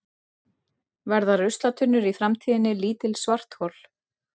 Verða ruslatunnur í framtíðinni lítil svarthol?